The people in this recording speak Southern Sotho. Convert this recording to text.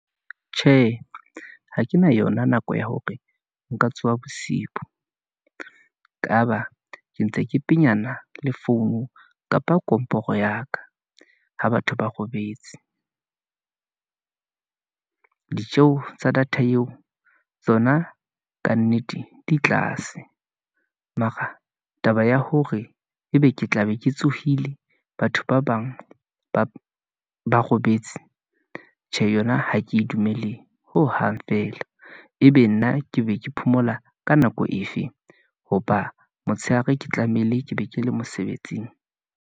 Tjhe, ha ke na yona nako ya hore nka tsoha bosibu, kaba ke ntse ke penyana le founu, kapa komporo ya ka, ha batho ba robetse , ditjeho tsa data eo, tsona kannete di tlase, mara taba ya hore ebe ke tla be ke tsohile, batho ba bang ba robetse. Tjhe yona ha ke dumele hohang feela, ebe nna ke be ke phomola ka nako efe. Hoba motshehare ke tlamehile ke be ke le mosebetsing.